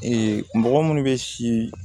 mɔgɔ minnu bɛ si